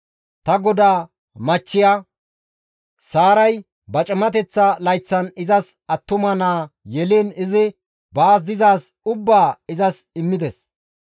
Ta godaa machchiya Saaray ba cimateththa layththan izas attuma naa yeliin izi baas dizaaz ubbaa izas immides.